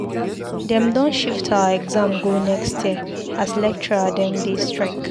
Dem don shift our exam go next year as lecturer dem dey strike.